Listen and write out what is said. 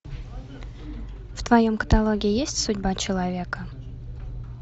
в твоем каталоге есть судьба человека